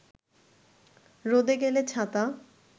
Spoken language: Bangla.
রোদে গেলে ছাতা